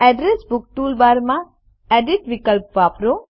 address book toolbar માં edit વિકલ્પ વાપરો